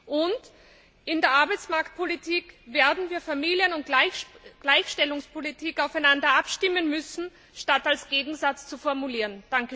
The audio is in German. Und in der Arbeitsmarktpolitik werden wir Familien und Gleichstellungspolitik aufeinander abstimmen müssen, statt als Gegensätze zu formulieren.